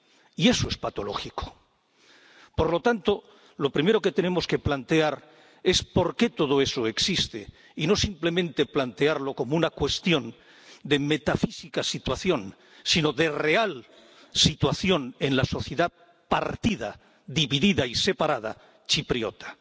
Y eso es patológico. Por lo tanto, lo primero que tenemos que plantear es por qué todo eso existe y no simplemente plantearlo como una cuestión de metafísica situación, sino de real situación en la sociedad partida, dividida y separada chipriota.